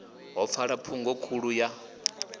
ḓo pfala phungo khulu ya